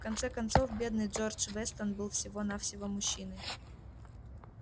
в конце концов бедный джордж вестон был всего-навсего мужчиной